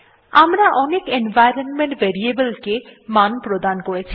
আমরা অনেক environment variable কে অনেক মান প্রদান করেছি